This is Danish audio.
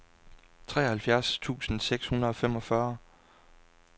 treoghalvfjerds tusind seks hundrede og femogfyrre